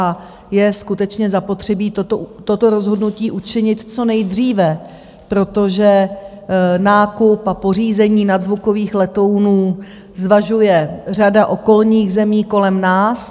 A je skutečně zapotřebí toto rozhodnutí učinit co nejdříve, protože nákup a pořízení nadzvukových letounů zvažuje řada okolních zemí kolem nás.